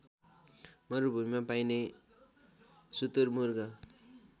मरुभूमिमा पाइने सुतुरमुर्ग